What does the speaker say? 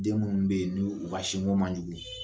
Den minnu bɛ yen ni u ka sin ko man jugu,